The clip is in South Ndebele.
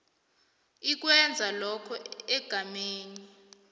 ikwenza lokho egameni